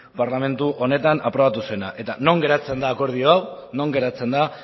parlamentu honetan aprobatu zena eta non geratzen da akordio hau non geratzen da